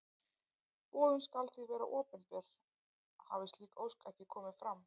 Boðun skal því vera opinber hafi slík ósk ekki komið fram.